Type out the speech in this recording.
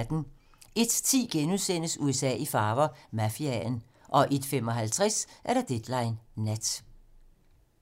01:10: USA i farver - Mafiaen * 01:55: Deadline nat